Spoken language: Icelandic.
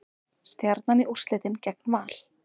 Stjarnan í úrslitin gegn Val